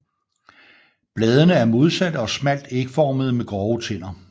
Bladene er modsatte og smalt ægformede med grove tænder